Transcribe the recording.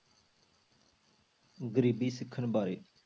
ਗ਼ਰੀਬੀ ਸਿਖਰ ਬਾਰੇ।